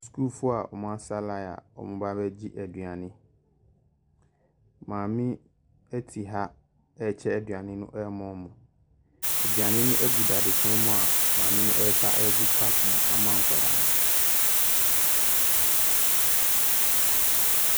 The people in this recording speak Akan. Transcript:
Sukuufoɔ a wɔn asa lyn a wɔn reba abɛgye aduane. Maame ɛte ha ɛrekye aduane no ɛrema wɔn. Aduane no ɛgu dadesɛn mu a maame no resa ɛgu kap mu ama nkwadaa no.